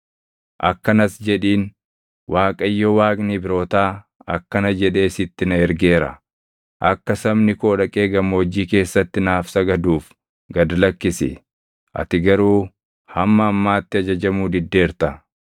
Akkanas jedhiin; ‘ Waaqayyo Waaqni Ibrootaa akkana jedhee sitti na ergeera: Akka sabni koo dhaqee gammoojjii keessatti naaf sagaduuf gad lakkisi. Ati garuu hamma ammaatti ajajamuu diddeerta.